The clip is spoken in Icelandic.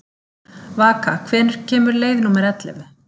Vaka, hvenær kemur leið númer ellefu?